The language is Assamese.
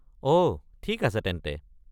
অ' ঠিক আছে তেন্তে।